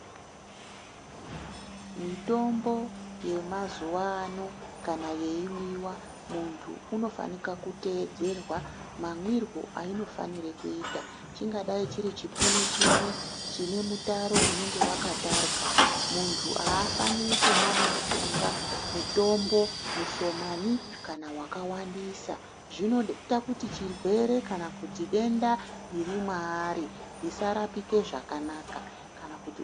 Mitombo yemazuva ano kana yeimwiwa munhu anofana kuteedzerwa mamwirwo ainofana kuitwa chingadai chiri chipunu chimwe chine mutaro unenge Wakatarwa muntu haifaniri kumwa mushonga mutombo mushomani kana wakawandisa zvinoita kuti denda kana chirwere chiri maari chisarapika zvakanaka.